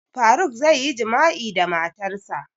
Faruk zai yi jima'i da matarsa